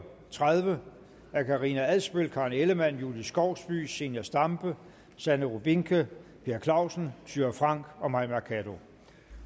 tredive af karina adsbøl karen ellemann julie skovsby zenia stampe sanne rubinke per clausen thyra frank og mai mercado